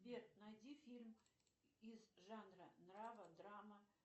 сбер найди фильм из жанра нрава драма